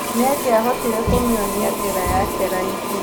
Nĩangiahotire kumĩona njĩra yake raithi.